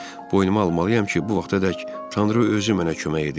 Boynuma almalıyam ki, bu vaxtadək Tanrı özü mənə kömək edirdi.